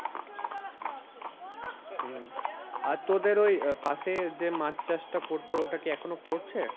হম আর তোদের ওই পাশে যে মাছ চাষটা করতো ওটা কি এখনো করছে?